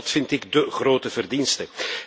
Dat vind ik de grote verdienste.